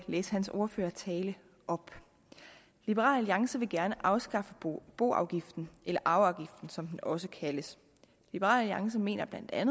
læse hans ordførertale op liberal alliance vil gerne afskaffe boafgiften eller arveafgiften som den også kaldes liberal alliance mener bla at